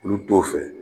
Olu t'o fɛ